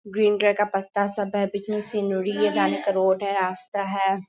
Green colour का पत्ता सब है। बीच में है। जाने का रोड है रास्ता है।